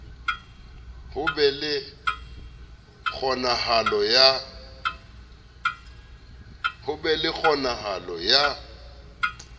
ho be le kgonahalo ya